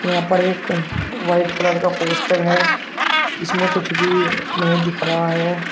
यहां पर एक वाइट कलर पोस्टर है इसमें कुछ भी नहीं दिख रहा है।